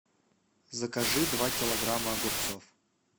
закажи два килограмма огурцов